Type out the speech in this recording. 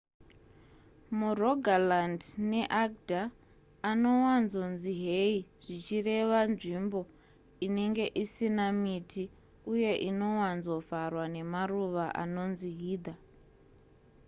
murogaland neagder anowanzonzi hei zvichireva nzvimbo inenge isina miti uye inowanzovharwa nemaruva anonzi heather